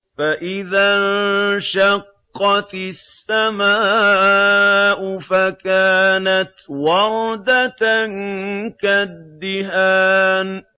فَإِذَا انشَقَّتِ السَّمَاءُ فَكَانَتْ وَرْدَةً كَالدِّهَانِ